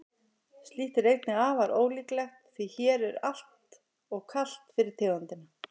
slíkt er einnig afar ólíklegt því hér er alltof kalt fyrir tegundina